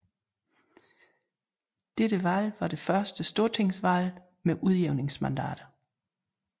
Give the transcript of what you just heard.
Dette valget var det første stortingsvalget med udjævningsmandater